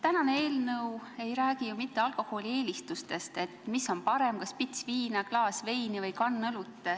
Täna arutatav eelnõu ei räägi ju mitte alkoholieelistustest, et mis on parem, kas pits viina, klaas veini või kann õlut.